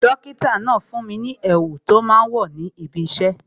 Dókítà náà fún mi ní èwù tó máa ń wò níbi isẹ